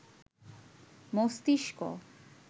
মস্তিষ্ক